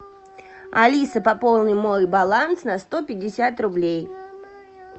алиса пополни мой баланс на сто пятьдесят рублей